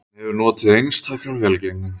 Hann hefur notið einstakrar velgengni